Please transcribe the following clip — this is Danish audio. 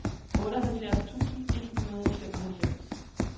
otteoghalvfjerds tusind et hundrede og femoghalvfems